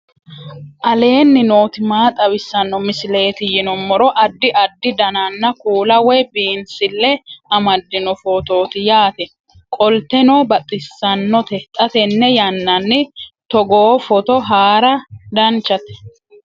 aleenni nooti maa xawisanno misileeti yinummoro addi addi dananna kuula woy biinsille amaddino footooti yaate qoltenno baxissannote xa tenne yannanni togoo footo haara danvchate